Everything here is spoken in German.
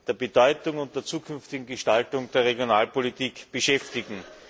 der Bedeutung und der zukünftigen Gestaltung der Regionalpolitik beschäftigen.